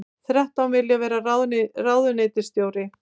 Þrettán vilja vera ráðuneytisstjóri